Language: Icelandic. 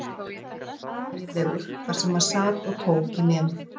Afi var svo hlægilegur þar sem hann sat og tók í nefið.